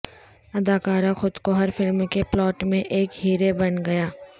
اداکارہ خود کو ہر فلم کے پلاٹ میں ایک ہیرے بن گیا